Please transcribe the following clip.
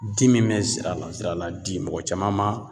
di min bɛ zira la zirala di mɔgɔ caman ma